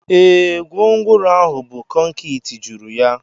Ee, gwongworo ahụ bu konkịtị juru ya.